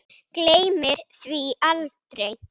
Gleymir því aldrei.